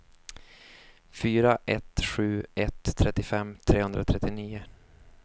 fyra ett sju ett trettiofem trehundratrettionio